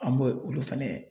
An b'o olu fɛnɛ